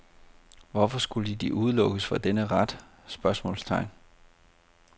Hvorfor skulle de udelukkes fra denne ret? spørgsmålstegn